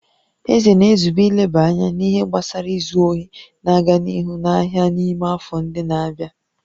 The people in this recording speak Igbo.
Eze na-ezube ileba anya n'ihe gbasara izu ohi na-aga n'ihu n'ahịa n'ime afọ ndị na-abịa